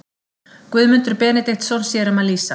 Guðmundur Benediktsson sér um að lýsa.